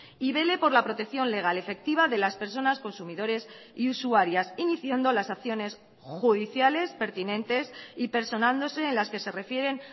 y vele por la protección legal efectiva de las personas consumidores y usuarias iniciando las acciones judiciales pertinentes y personándose en las que se refieren